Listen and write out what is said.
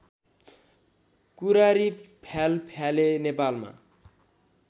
कुरारी फ्यालफ्याले नेपालमा